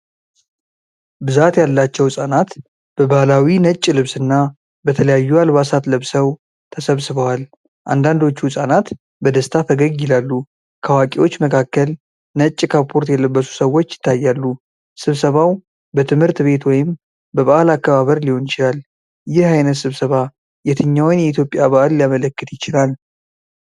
ብዛት ያላቸው ሕጻናት በባሕላዊ ነጭ ልብስና በተለያዩ አልባሳት ለብሰው ተሰብስበዋል። አንዳንዶቹ ሕፃናት በደስታ ፈገግ ይላሉ። ከአዋቂዎች መካከል ነጭ ካፖርት የለበሱ ሰዎች ይታያሉ። ስብሰባው በትምህርት ቤት ወይም በበዓል አከባበር ሊሆን ይችላል። ይህ ዓይነት ስብሰባ የትኛውን የኢትዮጵያ በዓል ሊያመለክት ይችላል?